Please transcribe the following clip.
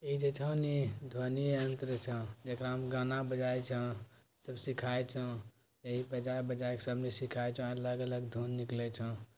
इ जे छो ना ध्वनि यंत्र छै जकड़ा में गाना बजाय छो सब सिखाय छो यही बजाय बजाय के सब ने सिखाय छो अलग-अलग धुन निकले छो।